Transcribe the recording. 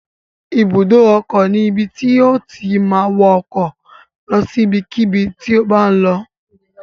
Ibùdó ọkọ̀ ni ibi tí o ti ma wọ ọkọ̀ lọ sí ibikíbi tí o bá ń lọ